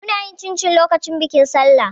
Muna yin cincin lokacin bikin Sallah.